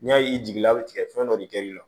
N'i y'a ye i jiginna a bɛ tigɛ fɛn dɔ de kɛ i la